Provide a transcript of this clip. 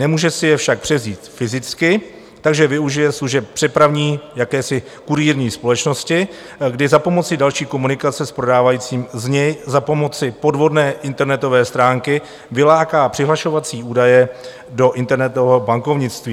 Nemůže si je však převzít fyzicky, takže využije služeb přepravní jakési, kurýrní společnosti, kdy za pomoci další komunikace s prodávajícím z něj za pomoci podvodné internetové stránky vyláká přihlašovací údaje do internetového bankovnictví.